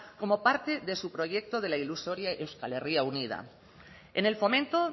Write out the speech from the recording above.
como parte de su proyecto de la ilusoria euskal herria unida en el fomento